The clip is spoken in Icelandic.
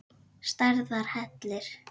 Stærðar hellir?